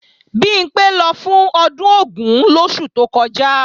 Bimpé lọ fún ọdún Ògún lóṣù tó kọjá